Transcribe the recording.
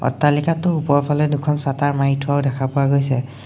অট্টালিকাটোৰ ওপৰফালে দুখন চাতাৰ মাৰি থোৱাও দেখা পোৱা গৈছে।